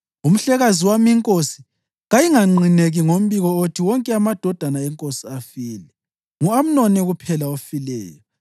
Umhlekazi wami inkosi kayinganqineki ngombiko othi wonke amadodana enkosi afile. Ngu-Amnoni kuphela ofileyo.”